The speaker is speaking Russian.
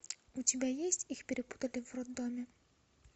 у тебя есть их перепутали в роддоме